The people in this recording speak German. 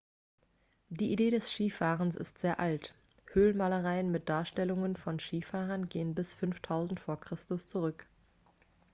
die idee des skifahrens ist sehr alt höhlenmalereien mit darstellungen von skifahrern gehen bis 5000 v. chr. zurück